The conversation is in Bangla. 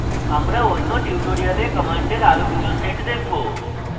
আমরা অন্য tutorial commands আরো কিছু set দেখবো